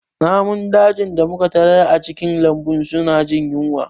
Namun dajin da muka tarar a cikin lambun suna jin yunwa